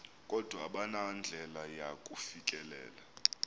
kodwa abanandlela yakufikelela